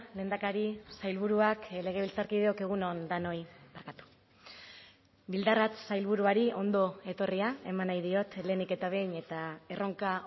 lehendakari sailburuak legebiltzarkideok egun on denoi bildarratz sailburuari ondo etorria eman nahi diot lehenik eta behin eta erronka